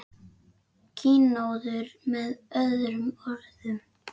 Kynóður með öðrum orðum.